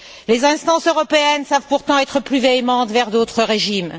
Les instances européennes savent pourtant être plus véhémentes envers d'autres régimes.